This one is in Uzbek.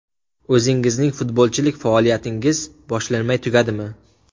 O‘zingizning futbolchilik faoliyatingiz boshlanmay tugadimi?